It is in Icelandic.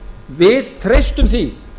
við treystum því